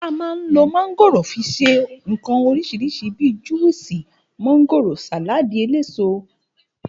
A mà ń ló màgórò fi sẹ ìkan orisirisi bí, Juwúsì màgórò, Sàlàdí ẹlẹsó ,abbl.